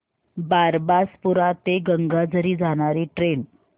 बारबासपुरा ते गंगाझरी जाणारी ट्रेन